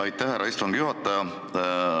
Aitäh, härra istungi juhataja!